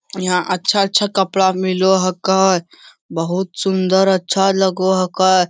यहाँ अच्छा-अच्छा कपड़ा मिलो हकै। बहुत सुन्दर अच्छा लगो हकै।